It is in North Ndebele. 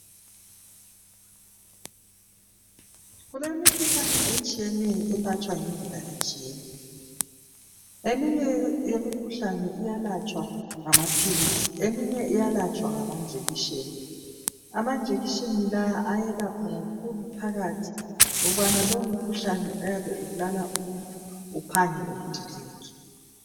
Kulemikhuhlane etshiyeneyo elatshwa ngendlela etshiyeneyo. Eminye yemikhuhlane iyalatshwa ngamaphilisi eminye iyalatshwa ngama njekishini. Amanjekishini la ayelapha kakhulu phakathi ukubana lowo mkhuhlane oyabe ubulala umuntu uphange udilike.